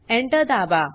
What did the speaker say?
Enter दाबा